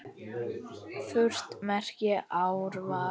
Furt merkir árvað.